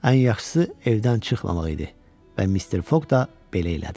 Ən yaxşısı evdən çıxmamaq idi və Mister Fog da belə elədi.